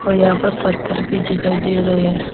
यहां पर पत्थर भी दिखाई दे रहे हैं।